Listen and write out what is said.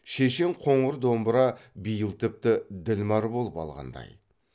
шешен қоңыр домбыра биыл тіпті ділмәр болып алғандай